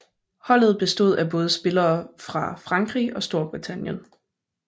Holdet bestod af spillere fra både Frankrig og Storbritannien